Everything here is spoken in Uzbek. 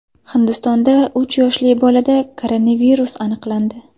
Hindistonda uch yoshli bolada koronavirus aniqlandi .